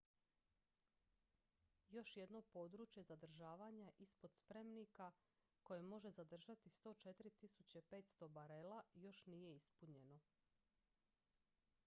još jedno područje zadržavanja ispod spremnika koje može zadržati 104.500 barela još nije ispunjeno